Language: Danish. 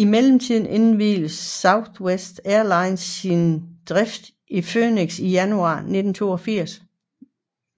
I mellemtiden indviede Southwest Airlines sin drift i Phoenix i januar 1982